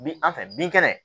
Bi an fɛ bin kɛnɛ